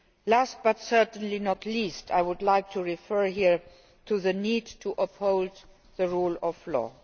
Last, but certainly not least, I would like to refer here to the need to uphold the rule of law.